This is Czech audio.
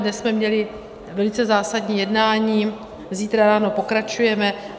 Dnes jsme měli velice zásadní jednání, zítra ráno pokračujeme.